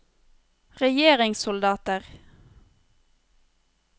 regjeringssoldater